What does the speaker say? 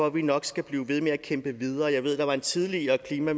at vi nok skal blive ved med at kæmpe videre jeg ved at der var en tidligere klima